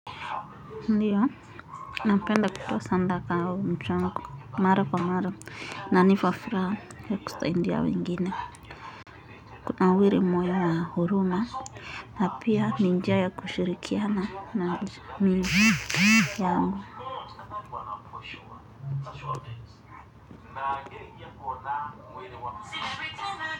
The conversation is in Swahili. Ndio, napenda kutoa sadaka au mchango, mara kwa mara, inanipa furaha, ya kusaidia wengine. Kunawiri moya na huruma, na pia ni njia ya kushirikiana, na jamii yangu.